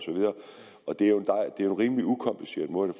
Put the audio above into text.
det er jo en rimelig ukompliceret måde